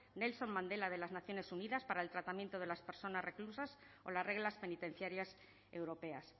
nelson mandela de las naciones unidas para el tratamiento de las personas reclusas o las reglas penitenciarias europeas